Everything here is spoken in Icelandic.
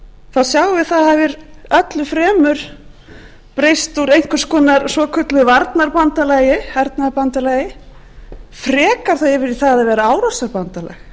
þróun nato þá sjáum við það öllu fremur hafa breyst úr svokölluðu varnarbandalagi hernaðarbandalagi frekar þá yfir í það að vera árásarbandalag